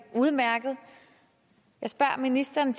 udmærket jeg spørger ministeren